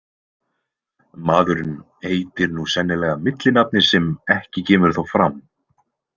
Maðurinn heitir nú sennilega millinafni sem ekki kemur þó fram.